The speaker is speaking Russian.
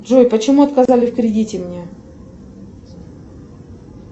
джой почему отказали в кредите мне